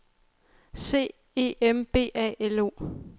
C E M B A L O